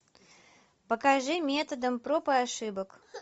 покажи методом проб и ошибок